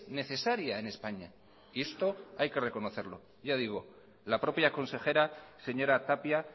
necesaria en españa y esto hay que reconocerlo ya digo la propia consejera señora tapia